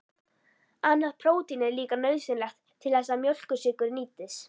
Annað prótín er líka nauðsynlegt til þess að mjólkursykur nýtist.